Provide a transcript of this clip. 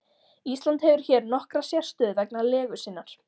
Ísland hefur hér nokkra sérstöðu vegna legu sinnar.